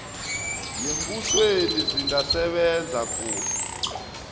yembusweni zingasebenza kuhle